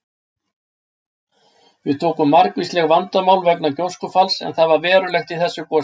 Við tóku margvísleg vandamál vegna gjóskufalls en það var verulegt í þessu gosi.